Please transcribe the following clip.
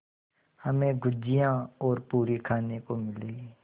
हमें गुझिया और पूरी खाने को मिलेंगी